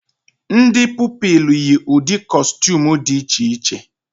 Ndị Pupilụ yi ụdị kọstuum dị iche iche